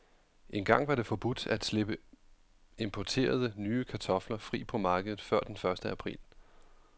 Engang var det forbudt at slippe importerede, nye kartofler fri på markedet før den første april.